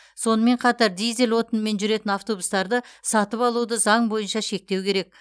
сонымен қатар дизель отынымен жүретін автобустарды сатып алуды заң бойынша шектеу керек